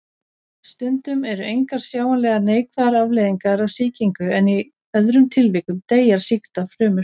Stundum eru engar sjáanlegar neikvæðar afleiðingar af sýkingu en í öðrum tilvikum deyja sýktar frumur.